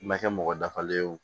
Ma kɛ mɔgɔ dafalen ye o